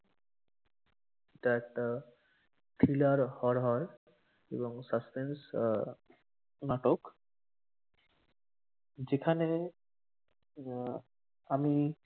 ওটা একটা thriller horror এবং suspense আহ নাটকI যেখানে আহ আমি,